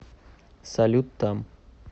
салют там